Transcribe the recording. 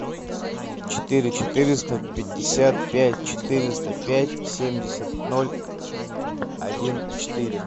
четыре четыреста пятьдесят пять четыреста пять семьдесят ноль один четыре